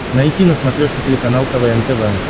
найти на смотрешке телеканал квн тв